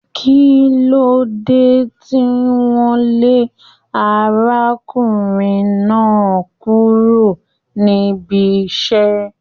Kín ló dé tí wọn lé arákùnrin náà kúrò níbí iṣẹ?